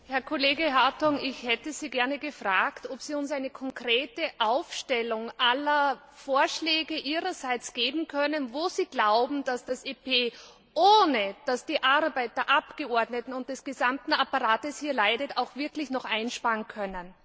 Herr Kollege Hartong, ich hätte Sie gerne gefragt, ob Sie uns eine konkrete Aufstellung aller Vorschläge Ihrerseits geben können, wo Sie glauben, dass das EP, ohne dass die Arbeit der Abgeordneten und des gesamten Apparates hier leidet, auch wirklich noch etwas einsparen kann.